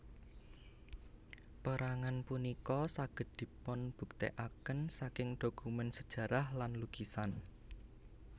Perangan punika saged dipunbuktèkaken saking dokumen sajarah lan lukisan